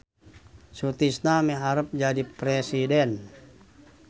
Sutisna miharep jadi presiden